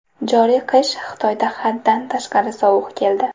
Joriy qish Xitoyda haddan tashqari sovuq keldi.